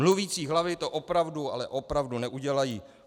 Mluvící hlavy to opravdu, ale opravdu neudělají.